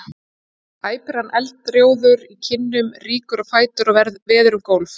æpir hann eldrjóður í kinnum, rýkur á fætur og veður um gólf.